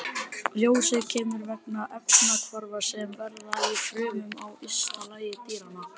Ljósið kemur vegna efnahvarfa sem verða í frumum á ysta lagi dýranna.